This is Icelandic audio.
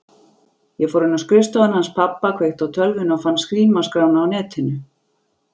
Ég fór inn á skrifstofuna hans pabba, kveikti á tölvunni og fann símaskrána á Netinu.